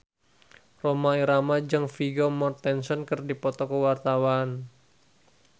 Rhoma Irama jeung Vigo Mortensen keur dipoto ku wartawan